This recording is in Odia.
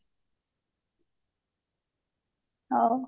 ହଉ